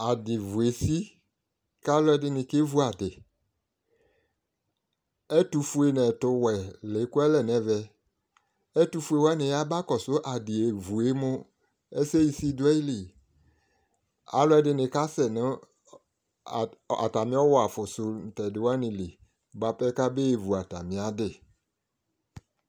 Aduvʋ esi kʋ alʋ ɛdini kevʋ adi ɛtʋfue nʋ ɛtʋwɛ lekʋalɛ nʋ ɛvɛ etʋfue ni wani yaba kɔsʋ adievʋ yɛ mʋ ɛsɛsisi dʋ ayili alʋedini kasɛnʋ atami ɔwɔ afʋsʋ nʋ tɛdi wani li bʋapɛ kabe vʋ atami adi